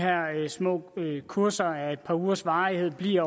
små kurser af et par ugers varighed bliver